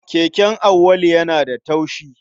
Keken Auwalu yana da taushi.